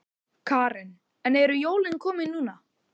Karen: En eru jólin komin núna?